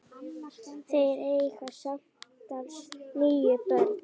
Þeir eiga samtals níu börn.